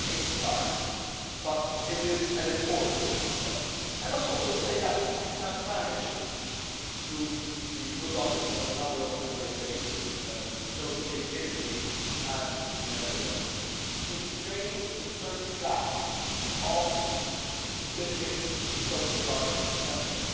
This is only a start, but it is an important start. I must also say that we have managed, through the good offices of a number of Member States, notably Italy and the Netherlands, to train the first batch of Libyan coast guard members.